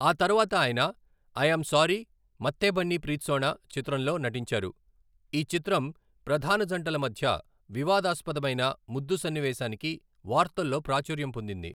ఆ తర్వాత ఆయన 'ఐ ఆమ్ సారీ మత్తే బన్నీ ప్రీత్సోనా' చిత్రంలో నటించారు, ఈ చిత్రం ప్రధాన జంటల మధ్య వివాదాస్పదమైన ముద్దు సన్నివేశానికి వార్తల్లో ప్రాచుర్యం పొందింది.